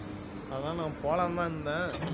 அதான் நான் போலாம்னுதான் இருந்தேன்